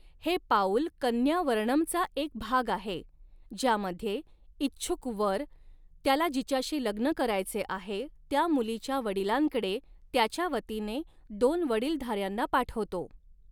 हे पाऊल कन्या वरणमचा एक भाग आहे, ज्यामध्ये इच्छुक वर, त्याला जिच्याशी लग्न करायचे आहे त्या मुलीच्या वडिलांकडे, त्याच्या वतीने दोन वडीलधाऱ्यांना पाठवतो.